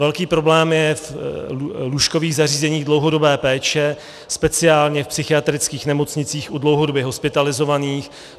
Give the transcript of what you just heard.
Velký problém je v lůžkových zařízeních dlouhodobé péče, speciálně v psychiatrických nemocnicích u dlouhodobě hospitalizovaných.